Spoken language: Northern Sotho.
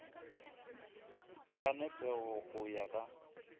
ka nepego go ya ka